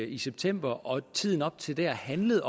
i september og i tiden op til det handlede